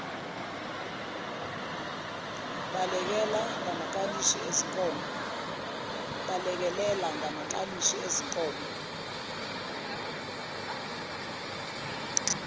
balekelela ngamakalishi ezinkomo